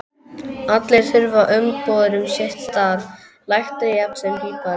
Allir þurfa umbúðir um sitt starf, læknir jafnt sem pípari.